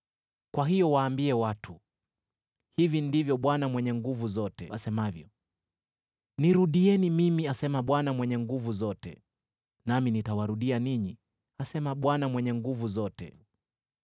Kwa hiyo waambie watu: Hivi ndivyo Bwana Mwenye Nguvu Zote asemavyo: ‘Nirudieni mimi,’ asema Bwana Mwenye Nguvu Zote, ‘nami nitawarudia ninyi,’ asema Bwana Mwenye Nguvu Zote.